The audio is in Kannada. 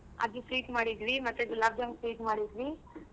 ಅದ್ sweet ಮಾಡಿದ್ವಿ ಮತ್ತೆ ಗುಲಾಬ್ ಜಾಮೂನ್ sweet ಮಾಡಿದ್ವಿ.